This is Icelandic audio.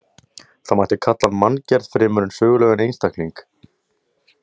Það mætti kalla hann manngerð fremur en sögulegan einstakling.